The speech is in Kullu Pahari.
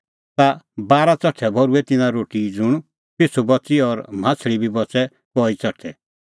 ता बारा च़ठै भर्हुऐ तिन्नां रोटीए ज़ुंण पिछ़ू बच़ी और माह्छ़लीए बी बच़ै कई च़ठै